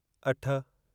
अठ